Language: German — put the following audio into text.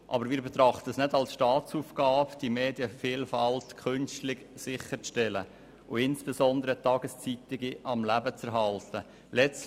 Aber wir betrachten es nicht als Staatsaufgabe, die Medienvielfalt künstlich sicherzustellen und insbesondere Tageszeitungen am Leben zu erhalten.